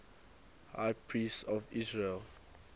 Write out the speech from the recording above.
high priests of israel